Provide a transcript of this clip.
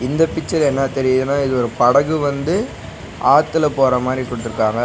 இந்த பிச்சர் என்ன தெரியிதுனா இது ஒரு படகு வந்து ஆத்துல போறா மாரி குடுத்துருக்காங்க.